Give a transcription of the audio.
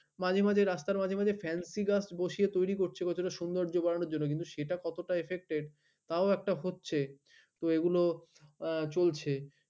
মাঝে মাঝে রাস্তার ফেন্সি গাছ বসিয়ে তৈরী করছে সৌন্দর্য্য বাড়ানোর জন্য সেটা কত টা affected তাও একটা হচ্ছে তো এগুলো চলছে